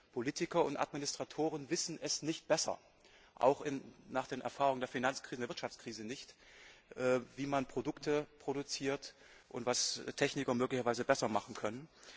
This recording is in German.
Politiker und Administratoren wissen nicht besser, auch nach den Erfahrungen der Finanz und Wirtschaftskrise nicht, wie man Produkte produziert und was Techniker möglicherweise besser machen können.